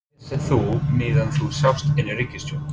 Hvað vissir þú meðan þú sast inni í ríkisstjórn?